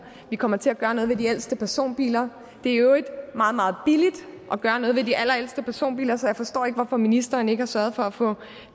vi kommer til at gøre noget ved de ældste personbiler det er i øvrigt meget meget billigt at gøre noget ved de allerældste personbiler så jeg forstår ikke hvorfor ministeren ikke har sørget for at få